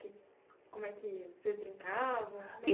Como é que vocês brincavam?